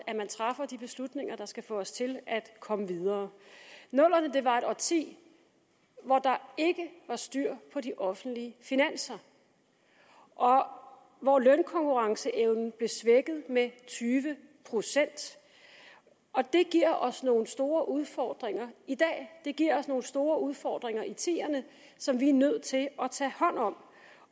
at man træffer de beslutninger der skal få os til at komme videre nullerne var et årti hvor der ikke var styr på de offentlige finanser og hvor lønkonkurrenceevnen blev svækket med tyve procent det giver os nogle store udfordringer i dag det giver os nogle store udfordringer i tierne som vi er nødt til at tage hånd om